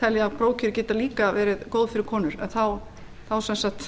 telji að prófkjör geti líka verið góð fyrir konur en þá sem sagt